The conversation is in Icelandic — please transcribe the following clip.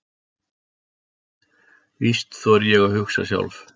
Víst þori ég að hugsa sjálf.